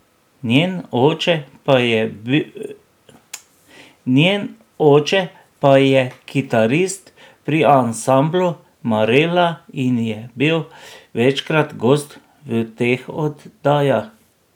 Njen oče pa je kitarist pri ansamblu Marela in je bil večkrat gost v teh oddajah.